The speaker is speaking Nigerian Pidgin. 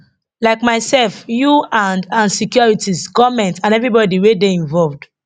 like mysef you and and securities goment and evribodi wey dey involved